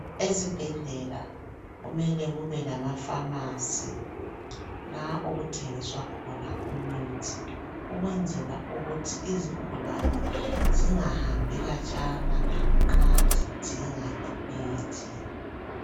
Ezibhedlela kumele kube lamafamasi la okuthengiswa khona imithi, ukwenzela ukuthi izigulani zingahambi katshana nxa zidinga imithi .